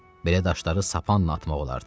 Belə daşları sapanla atmaq olardı.